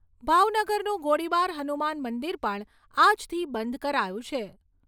ભાવનગરનું ગોળીબાર હનુમાનમંદિર પણ આજથી બંધ કરાયું છે.